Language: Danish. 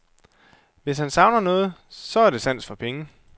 Hvis han savner noget, så er det sans for penge.